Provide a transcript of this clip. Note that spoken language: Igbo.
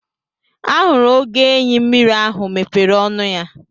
Ahụrụ oge enyi mmiri ahụ mepere ọnụ ya.